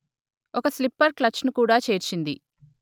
ఒక slipper clutch ను కూడా చేర్చింది